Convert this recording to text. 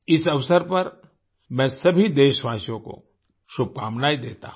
इस अवसर पर मैं सभी देशवासियों को शुभकामनायें देता हूँ